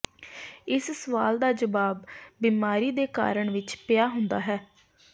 ਇਸ ਸਵਾਲ ਦਾ ਜਵਾਬ ਬਿਮਾਰੀ ਦੇ ਕਾਰਨ ਵਿੱਚ ਪਿਆ ਹੁੰਦਾ ਹੈ